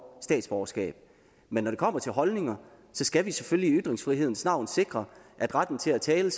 statsborgerskab men når det kommer til holdninger skal vi selvfølgelig i ytringsfrihedens navn sikre at retten til at tale